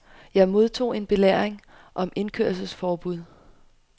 Jeg modtog en belæring om indkørselforbud.